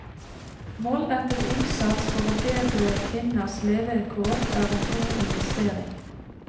Målrettet innsats for å bedre kvinners levekår er en god investering.